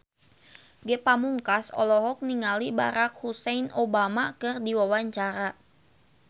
Ge Pamungkas olohok ningali Barack Hussein Obama keur diwawancara